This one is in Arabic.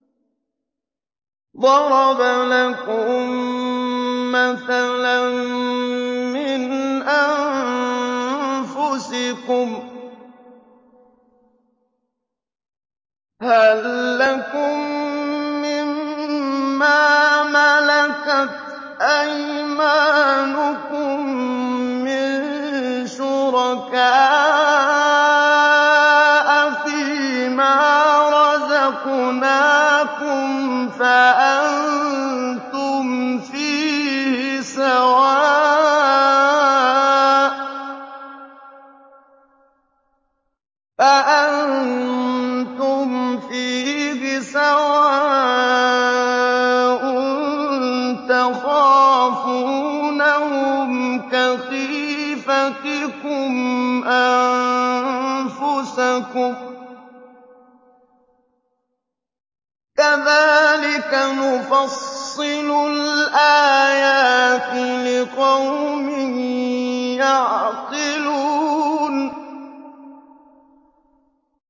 ضَرَبَ لَكُم مَّثَلًا مِّنْ أَنفُسِكُمْ ۖ هَل لَّكُم مِّن مَّا مَلَكَتْ أَيْمَانُكُم مِّن شُرَكَاءَ فِي مَا رَزَقْنَاكُمْ فَأَنتُمْ فِيهِ سَوَاءٌ تَخَافُونَهُمْ كَخِيفَتِكُمْ أَنفُسَكُمْ ۚ كَذَٰلِكَ نُفَصِّلُ الْآيَاتِ لِقَوْمٍ يَعْقِلُونَ